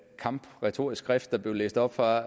kampretorisk skrift der blev læst op fra